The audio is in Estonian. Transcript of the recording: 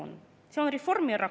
See teeb mind väga murelikuks.